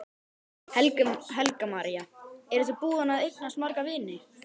Helga María: Eru þið búin að eignast marga vini?